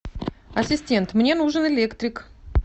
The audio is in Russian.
ассистент мне нужен электрик